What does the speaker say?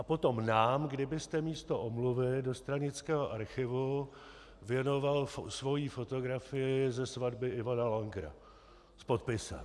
A potom nám kdybyste místo omluvy do stranického archivu věnoval svoji fotografii ze svatby Ivana Langera s podpisem.